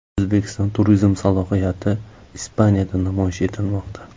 O‘zbekiston turizm salohiyati Ispaniyada namoyish etilmoqda.